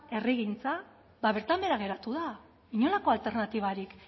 herrigintza ba bertan behera geratu da inolako alternatibarik